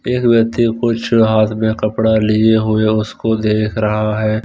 एक व्यक्ति कुछ रात में कपड़ा लिए हुए उसको देख रहा है।